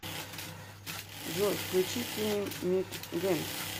джой включи тини мит гэнг